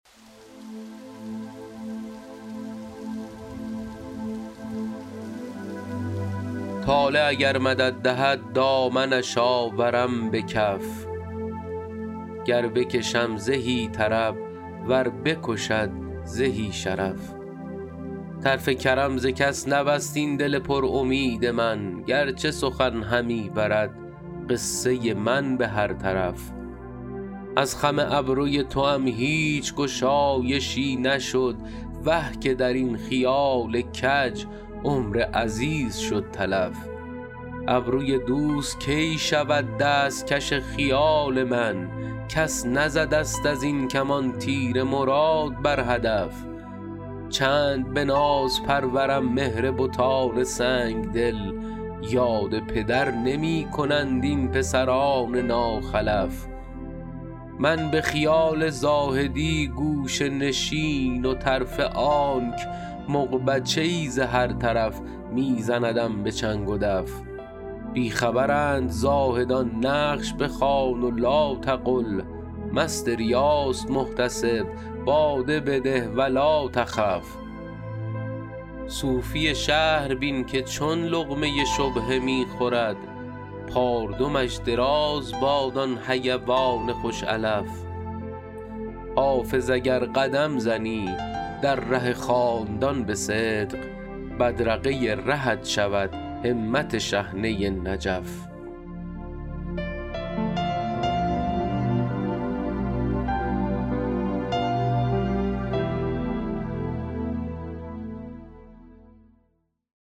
طالع اگر مدد دهد دامنش آورم به کف گر بکشم زهی طرب ور بکشد زهی شرف طرف کرم ز کس نبست این دل پر امید من گر چه سخن همی برد قصه من به هر طرف از خم ابروی توام هیچ گشایشی نشد وه که در این خیال کج عمر عزیز شد تلف ابروی دوست کی شود دست کش خیال من کس نزده ست از این کمان تیر مراد بر هدف چند به ناز پرورم مهر بتان سنگ دل یاد پدر نمی کنند این پسران ناخلف من به خیال زاهدی گوشه نشین و طرفه آنک مغبچه ای ز هر طرف می زندم به چنگ و دف بی خبرند زاهدان نقش بخوان و لاتقل مست ریاست محتسب باده بده و لاتخف صوفی شهر بین که چون لقمه شبهه می خورد پاردمش دراز باد آن حیوان خوش علف حافظ اگر قدم زنی در ره خاندان به صدق بدرقه رهت شود همت شحنه نجف